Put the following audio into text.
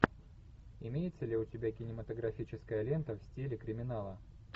имеется ли у тебя кинематографическая лента в стиле криминала